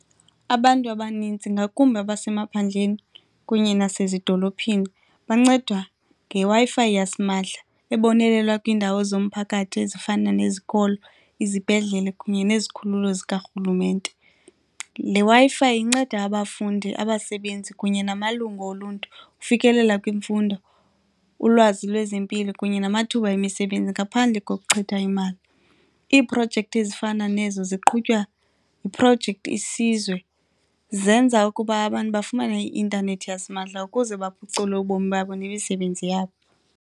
Abantu abanintsi, ngakumbi abasemaphandleni kunye nasezidolophini, bancedwa ngeWi-Fi yasimahla ebonelela kwiindawo zomphakathi ezifana nezikolo, izibhedlele kunye nezikhululo zikarhulumente. Le Wi-Fi inceda abafundi, abasebenzi kunye namalungu oluntu ufikelela kwimfundo, ulwazi lwezempilo kunye namathuba emisebenzi ngaphandle kokuchitha imali. Iiprojekthi ezifana nezo ziqhutywa yiprojekthi Isizwe, zenza ukuba abantu bafumane i-intanethi yasimahla ukuze baphucule ubomi babo nemisebenzi yabo.